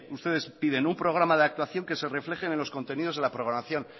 ustedes piden un programa de actuación que se reflejen en los contenidos de la programación